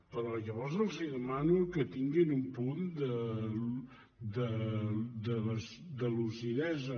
però llavors els demano que tinguin un punt de lucidesa